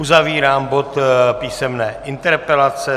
Uzavírám bod písemné interpelace.